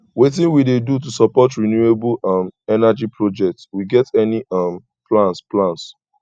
wetin we dey do to support renewable um energy projects we get any um plans plans